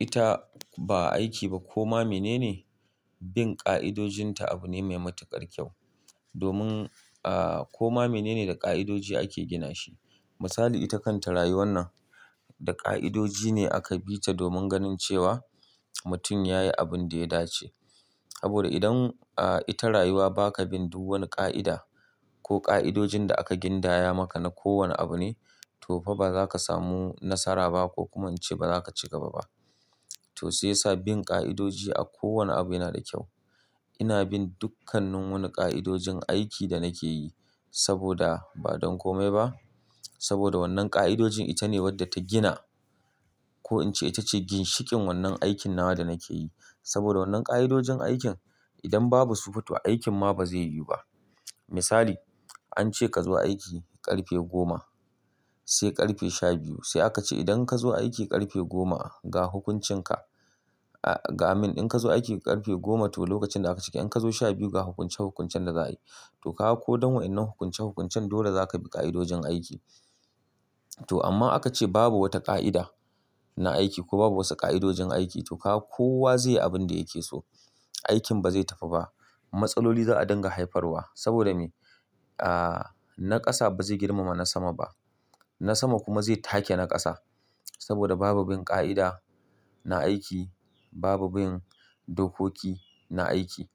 Ita ba aiki ba ko ma menene, bin ƙa'idojin ta abu ne mai matuƙar kyau. Domin, aa, ko ma menene da ƙa'idoji ake gina shi. Misali, ita kanta rayuwar nan da ƙa'idoji ne aka bi ta domin ganin cewa mutum ya yi abin da ya dace. Saboda idan, aa, ita rayuwa ba ka bin duk wani ƙa'ida ko ƙa'idojin da aka gindaya maka na kowane abu ne, to fa ba za ka samu nasara ba ko kuma in ce ba za ka ci gaba ba. To sai sa bin ƙa'idoji a kowane abu yana da kyau. Ina bin dukkanannu wani ƙa'idojin aiki da nake yi saboda ba don kome ba. Saboda wannan ƙa'idojin ita ne wadda ta gina ko in ce ita ce ginshikin wannan aikin nawa da nake yi. Saboda wannan ƙa'idojin aikin idan babu su futuwa, aikin ma ba zai yiwu ba. Misali, an ce ka zo aiki ƙarfe goma sai ƙarfe shabiyu sai aka ce idan ka zo aiki ƙarfe goma, ga hukuncin ka. Ga min in ka zo aiki ƙarfe goma to lokacin da aka cike in ka zo shabiyu ga hukunce hukuncen da za a yi. To kawo ko don wa'innan hukunce hukuncen dole za ka bi ƙa'idojin aiki. To amma aka ce babu wata ƙa'ida na aiki ko babu wasu ƙa'idojin aiki to kawo kowa zai yi abin da yake so. Aikin ba zai tafi ba. Matsaloli za a dinga haifarwa. Saboda me? Aa, na ƙasa ba zai girmama na sama ba. Na sama kuma zai take na ƙasa. Saboda babu bin ƙa'ida na aiki, babu bin dokoki na aiki.